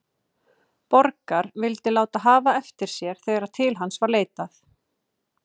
Borgar, vildi láta hafa eftir sér þegar til hans var leitað,.